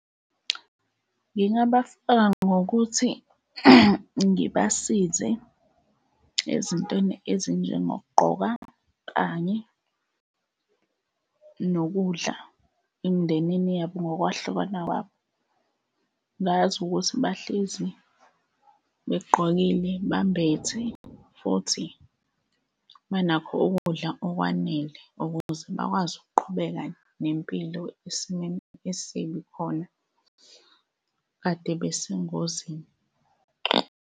Ngingabaseka ngokuthi ngibasize ezintweni ezinjengokugqoka kanye nokudla emndenini yabo ngokwahlukana kwabo, ngazi ukuthi bahlezi begqokile bambethe, futhi banakho ukudla okwanele ukuze bakwazi ukuqhubeka nempilo esimweni esibi khona kade besengozini.